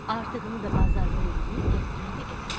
Artığını da bazarlıq eləyib gətirirdi evə.